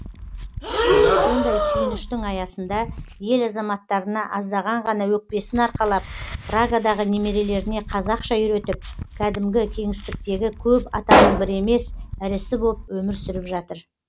сондай сүйініштің аясында ел азаматтарына аздаған ғана өкпесін арқалап прагадағы немерелеріне қазақша үйретіп кәдімгі кеңістіктегі көп атаның бірі емес ірісі боп өмір сүріп жатыр